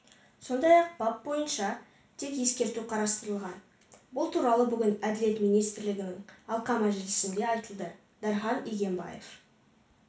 сондай-ақ бап бойынша тек ескерту қарастырылған бұл туралы бүгін әділет министрлігінің алқа мәжілісінде айтылды дархан игембаев